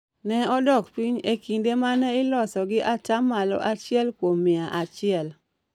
ne odok piny e kinde ma ne iloso gi ata malo achiel kuom mia achiel.